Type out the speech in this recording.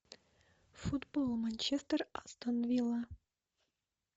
футбол манчестер астон вилла